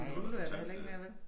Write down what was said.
Men Lulu er der heller ikke mere vel?